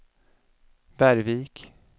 Bergvik